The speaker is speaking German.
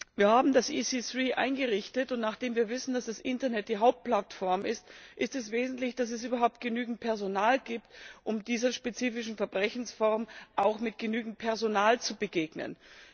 Wir haben das EC3 eingerichtet, und nachdem wir wissen, dass das Internet die Hauptplattform ist, ist es wesentlich, dass es überhaupt genügend Personal gibt, um dieser spezifischen Verbrechensform auch mit genügend Personal zu begegnen.